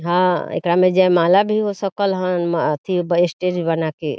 हां एकरा में जयमाला भी होसकल हन म एथी स्टेज बनाके।